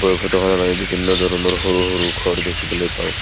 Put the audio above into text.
ফটোখনত আমি বিভিন্ন ধৰণৰ ঘৰ দেখিবলৈ পাওঁ।